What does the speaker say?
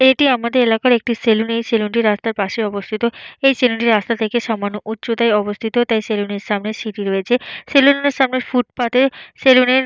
এইটি আমাদের এলাকার একটি সেলুন । এই সেলুনটি রাস্তার পাশে অবস্থিত। এই সেলুনটি রাস্তা থেকে সামান্য উচ্চতায় অবস্থিত। তাই সেলুনের সামনে সিঁড়ি রয়েছে। সেলুনের সামনে ফুটপাথে সেলুনের --